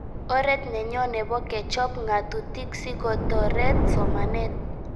Oret nenyo nepo kechop ng'atutik si kotoret somanet